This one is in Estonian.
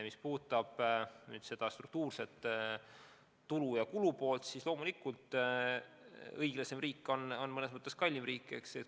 Mis puudutab struktuurset tulu- ja kulupoolt, siis loomulikult õiglasem riik on mõnes mõttes kallim riik.